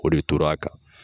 O de tora kan.